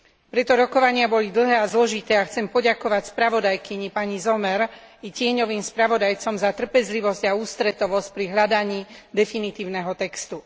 Preto rokovania boli dlhé a zložité a chcem poďakovať spravodajkyni pani Sommer i tieňovým spravodajcom za trpezlivosť a ústretovosť pri hľadaní definitívneho textu.